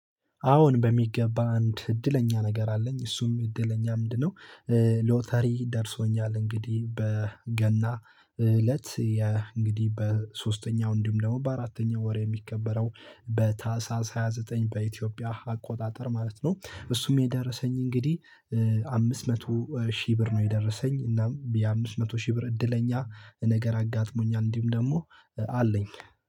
አዎን በሚገባ አንድ እድለኛ ነገር አለኝ እሱም እድለኛ ምንድነው? ሎተሪ ደርሶኛል እንግዲህ በገና እለት እንግዲህ በሶስተኛው እንዲሁም ደግሞ በአራተኛው ወር የሚከበረው በታህሳስ ሃያ ዘጠኝ በኢትዮጵያ አቆጣጠር ማለት ነው። እሱም የደረሰኝ እንግዲህ አምስት መቶ ሺህ ብር ነው የደረሰኝ እና የአምስት መቶ ሺህ ብር እድለኛ ነገር አጋጥሞኛል። እንዲሁ ደግሞ አለኝ።